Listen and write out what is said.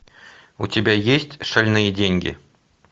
у тебя есть шальные деньги